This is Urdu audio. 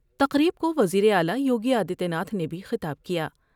تقریب کو وزیر اعلی یوگی آدتیہ ناتھ نے بھی خطاب کیا ۔